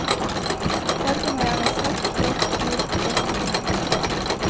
Fargene er gjerne svart, grått, gult, blått og grønt.